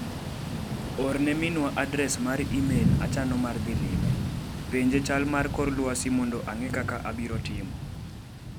Orne minwa adres mar imel achano mar dhi lime ,penje chal mar kor lwasi mondo ang'e kaka abiro timo.